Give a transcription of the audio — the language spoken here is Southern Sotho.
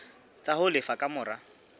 tsa ho lefa ka mora